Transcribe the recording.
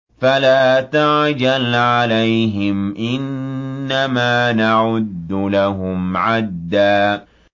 فَلَا تَعْجَلْ عَلَيْهِمْ ۖ إِنَّمَا نَعُدُّ لَهُمْ عَدًّا